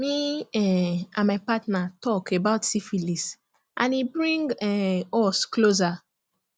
me um and my partner talk about syphilis and e bring um us closer